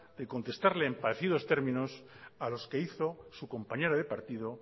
de contestarle en parecidos términos a los que hizo su compañera de partido